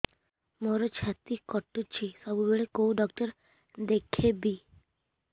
ମୋର ଛାତି କଟୁଛି ସବୁବେଳେ କୋଉ ଡକ୍ଟର ଦେଖେବି